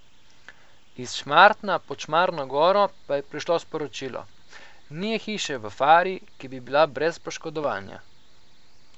Iz Šmartna pod Šmarno goro pa je prišlo sporočilo: "Ni je hiše v fari, ki bi bila brez poškodovanja.